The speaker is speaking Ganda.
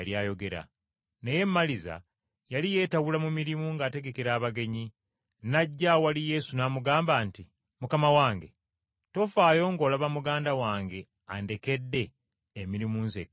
Naye Maliza yali yeetawula mu mirimu ng’ategekera abagenyi, n’ajja awali Yesu n’amugamba nti, “Mukama wange, tofaayo ng’olaba muganda wange andekedde emirimu nzekka?”